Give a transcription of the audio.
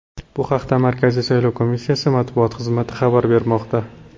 Bu haqda Markaziy saylov komissiyasi matbuot xizmati xabar bermoqda .